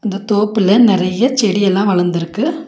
இந்த தோப்புல நெறைய செடியெல்லா வளந்துருக்கு.